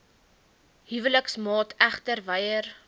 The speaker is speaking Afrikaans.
huweliksmaat egter weier